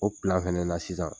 O fɛnɛ na sisan.